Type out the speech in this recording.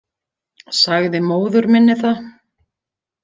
Sagði móður minni það.